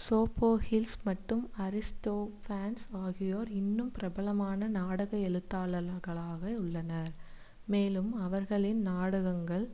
Sophocles மற்றும் Aristophanes ஆகியோர் இன்னும் பிரபலமான நாடக எழுத்தாளர்களாக உள்ளனர் மேலும் அவர்களின் நாடகங்கள்